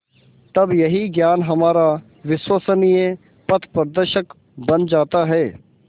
तब यही ज्ञान हमारा विश्वसनीय पथप्रदर्शक बन जाता है